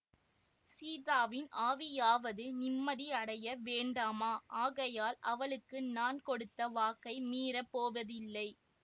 சீதாவின் ஆவியாவது நிம்மதி அடைய வேண்டாமா ஆகையால் அவளுக்கு நான் கொடுத்த வாக்கை மீறப் போவதில்லை